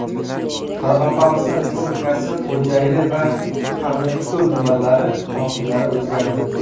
Qoraqalpog‘iston Respublikasi Xo‘jayli va Qanliko‘l tumanlari hokimlari o‘zgardi.